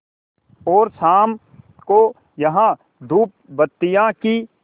और शाम को यहाँ धूपबत्तियों की